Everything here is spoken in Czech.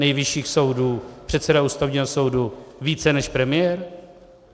Nejvyššího soudu, předseda Ústavního soudu více než premiér?